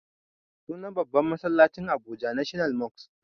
Sunan babban masallacin abuja national mosque